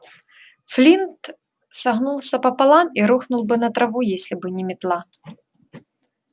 флинт согнулся пополам и рухнул бы на траву если бы не метла